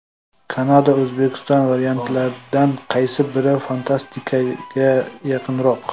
Kanada O‘zbekiston: variantlardan qaysi biri fantastikaga yaqinroq?.